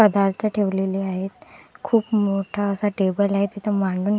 पदार्थ ठेवलेले आहेत खूप मोठा असा टेबल आहे तिथे मांडू--